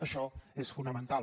això és fonamental